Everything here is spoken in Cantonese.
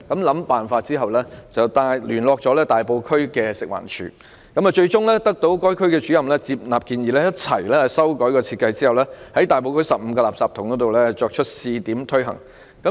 經一輪思考後，他聯絡食物環境衞生署大埔區的辦事處，而分區主任最終接納他的建議，共同修改設計，並在大埔區15個垃圾桶試行。